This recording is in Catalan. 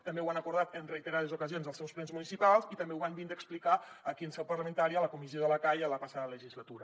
també ho han acordat en reiterades ocasions als seus plens municipals i també ho van vindre a explicar aquí en seu parlamentària a la comissió de la cai a la passada legislatura